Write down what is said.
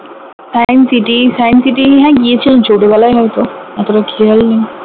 science city science city হ্যাঁ গিয়েছিলাম ছোটবেলায় হয়ত অতটা খেয়াল নেই